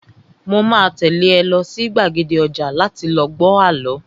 Mo máa tẹ́lé ẹ lọ sí gbàgede ọjà láti lọ gbọ àlọ́